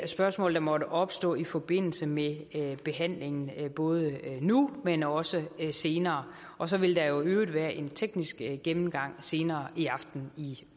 spørgsmål der måtte opstå i forbindelse med behandlingen både nu men også senere og så vil der jo i øvrigt være en teknisk gennemgang senere i aften i